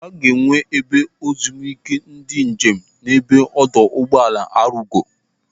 Aga enwe ebe ezumike ndị njem n'ebe ọdọ ụgbọala Arugo.